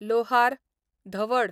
लोहार, धवड